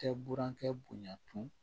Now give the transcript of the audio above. Tɛ burankɛ bonya tun